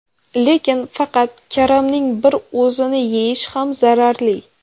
Lekin faqat karamning bir o‘zini yeyish ham zararli.